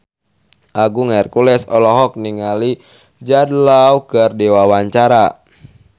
Agung Hercules olohok ningali Jude Law keur diwawancara